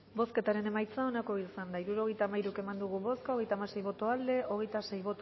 bozketaren emaitza onako izan da hirurogeita hamairu eman dugu bozka hogeita hamasei boto aldekoa hogeita sei